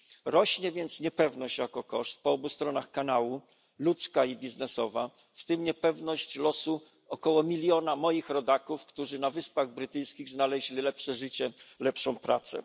Rośnie więc niepewność, jako koszt, po obu stronach kanału ludzka i biznesowa, w tym niepewność losu około miliona moich rodaków, którzy na Wyspach Brytyjskich znaleźli lepsze życie, lepszą pracę.